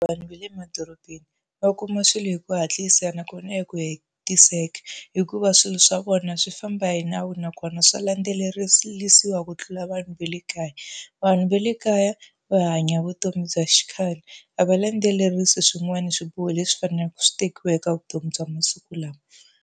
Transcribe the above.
Vanhu va le emadorobeni va kuma swilo hi ku hatlisa nakona hi ku hetiseka, hikuva swilo swa vona swi famba hi nawu nakona swa landzelerisiwa ku tlula vanhu va le kaya. Vanhu va le kaya va hanya vutomi bya xi khale, a va landzelerisi swin'wana swiboho leswi faneleke swi tekiwa eka vutomi bya masiku lawa.